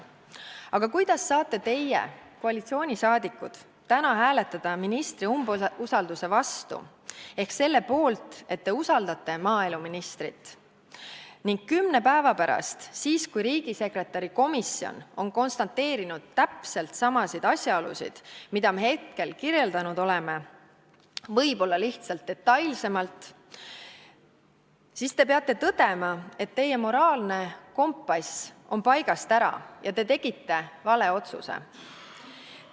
Aga kuidas saate teie, koalitsioonisaadikud, täna hääletada ministri umbusaldamise vastu ehk selle poolt, et te usaldate maaeluministrit, ning kümne päeva pärast – kui riigisekretäri komisjon on konstateerinud täpselt samasid asjaolusid, mida me hetkel kirjeldanud oleme, võib-olla lihtsalt detailsemalt – te peate tõdema, et teie moraalne kompass on paigast ära ja te tegite vale otsuse?